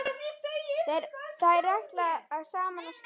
Þeir ætla saman á skíði.